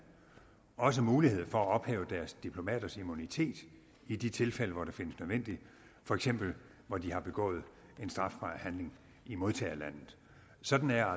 også mulighed for at ophæve deres diplomaters immunitet i de tilfælde hvor det findes nødvendigt for eksempel hvor de har begået en strafbar handling i modtagerlandet sådan er